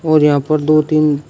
और यहां पर दो तीन--